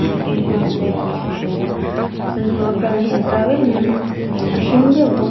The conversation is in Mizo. ground anih duh hmel a a chhan chu a ground hi a zau em em a a hring vek bawk a.